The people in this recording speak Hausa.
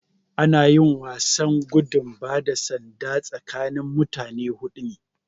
Ana yin wasan gudun bada sanda tsakanin mutane hudu ne